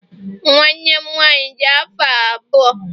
Nwanne m nwaanyị dị afọ abụọ